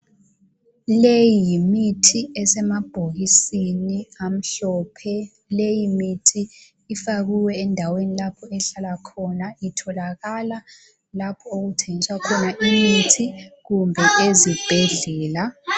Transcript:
Leyi yimithi esemabhokisini amhlophe. Leyi mithi ifakwe endaweni lapho ehlala khona. Itholakala lapho okuthengiswa khona imithi kumbe ezibhedlela.